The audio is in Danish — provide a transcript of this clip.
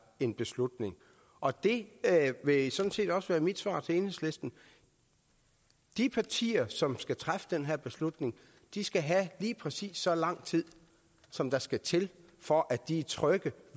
en beslutning og det vil sådan set også være mit svar til enhedslisten de partier som skal træffe den her beslutning skal have lige præcis så lang tid som der skal til for at de er trygge